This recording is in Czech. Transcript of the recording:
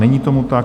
Není tomu tak.